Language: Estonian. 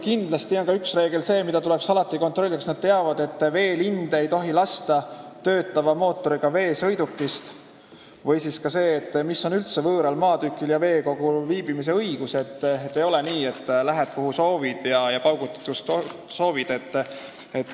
Kindlasti tuleks alati kontrollida, kas nad teavad, et veelinde ei tohi lasta töötava mootoriga veesõidukist, või kas nad teavad, missugused on üldse võõral maatükil ja veekogul viibimise õigused, sest ei ole nii, et lähed, kuhu soovid, ja paugutad, kus soovid.